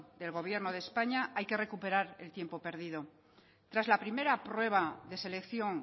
del gobierno de españa hay que recuperar el tiempo perdido tras la primera prueba de selección